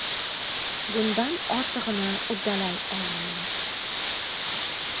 Bundan ortig‘ini uddalay olmaymiz.